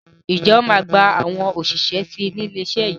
Ǹjẹ́ wọn máa gba àwọn òṣìṣẹ́ síí ni ilé iṣẹ́ yìí?